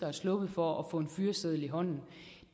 er sluppet for at få en fyreseddel i hånden